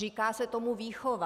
Říká se tomu výchova.